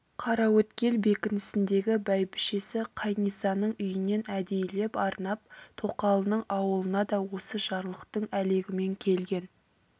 қараөткел бекінісіндегі бәйбішесі қайнисаның үйінен әдейілеп арнап тоқалының аулына да осы жарлықтың әлегімен келген